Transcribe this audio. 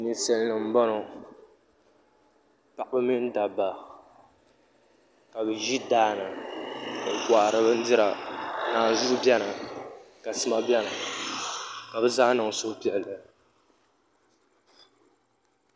Ninsal nim n boŋo paɣaba mini dabba ka bi ʒi daani n kohari bindira naanzuhi biɛni ka sima biɛni ka bi zaa niŋ suhupiɛlli